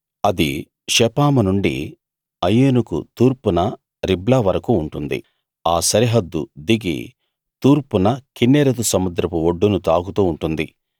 అది షెపాము నుండి అయీనుకు తూర్పున రిబ్లా వరకూ ఉంటుంది ఆ సరిహద్దు దిగి తూర్పున కిన్నెరెతు సముద్రపు ఒడ్డును తాకుతూ ఉంటుంది